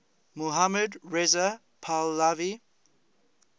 mohammad reza pahlavi